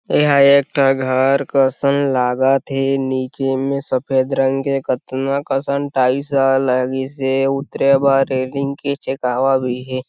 एहाँ एक ठक घर कसन लागत थे नीचे में सफ़ेद रंग के कतना कसन टाइल्स ह लगिसे उतरे ब रेलिंग के छेकवा भी हे।